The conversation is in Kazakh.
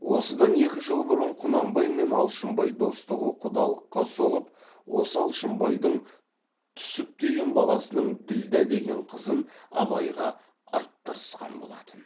осыдан екі жыл бұрын құнанбай мен алшынбай достығы құдалыққа соғып осы алшынбайдың түсіп деген баласының ділдә деген қызын абайға айттырысқан болатын